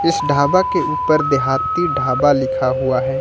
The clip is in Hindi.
इस ढाबा के ऊपर देहाती ढाबा लिखा हुआ है।